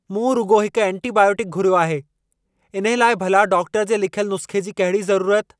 मूं रुॻो हिकु एंटीबायोटिकु घुर्यो आहे! इन्हे लाइ भला डाक्टर जे लिखयल नुस्ख़े जी कहिड़ी ज़रूरत?